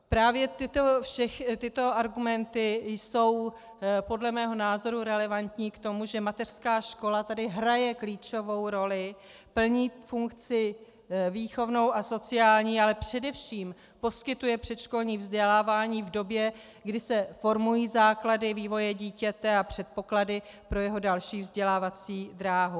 Právě tyto argumenty jsou podle mého názoru relevantní k tomu, že mateřská škola tady hraje klíčovou roli, plní funkci výchovnou a sociální, ale především poskytuje předškolní vzdělávání v době, kdy se formují základy vývoje dítěte a předpoklady pro jeho další vzdělávací dráhu.